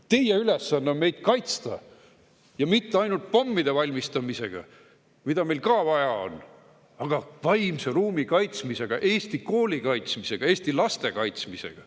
Teie ülesanne on meid kaitsta, ja mitte ainult pommide valmistamisega, ehkki neidki on meil vaja, vaid ka vaimse ruumi kaitsmisega, Eesti kooli kaitsmisega, Eesti laste kaitsmisega.